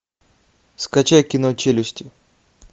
скачай кино челюсти